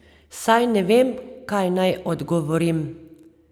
Saj ne vem, kaj naj odgovorim.